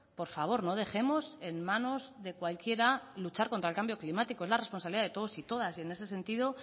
por favor no dejemos en manos de cualquiera luchar contra el cambio climático es la responsabilidad de todos y todas y en ese sentido